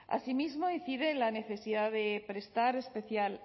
asimismo incide en la necesidad de prestar especial